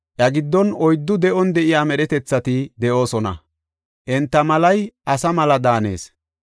Iya giddon oyddu de7on de7iya medhetethati de7oosona. Enta malay asa mala daanees.